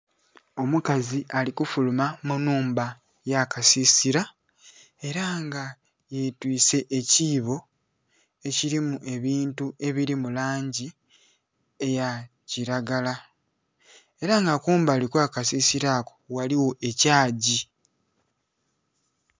Omukazi alikufuluma munhumba eya kakasisira era nga yetwise ekibo ekirimu ebintu ebiri mulangi eyakiragala era nga kumbali okwa kasisira ako ghaligho ekyagi.